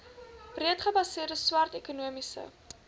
breedgebaseerde swart ekonomiese